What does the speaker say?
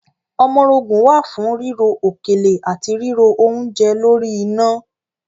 Ọmọrogùn wà fún ríro òkèlè àti ríro oúnje lórí iná.